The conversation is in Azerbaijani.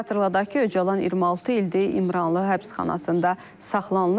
Xatırladaq ki, Öcalan 26 ildir İmralı həbsxanasında saxlanılır.